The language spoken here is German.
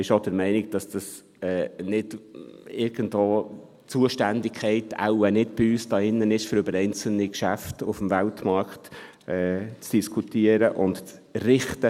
Sie ist auch der Meinung, dass die Zuständigkeit wohl nicht hier beim Rat liegt, um über einzelne Geschäfte auf dem Weltmarkt zu diskutieren und zu richten.